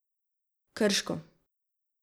Krško.